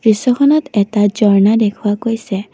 দৃশ্যখনত এটা ঝৰ্না দেখুওৱা গৈছে।